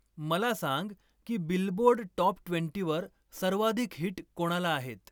मला सांग की बिलबोर्ड टॉप ट्वेंटीवर सर्वाधिक हिट कोणाला आहेत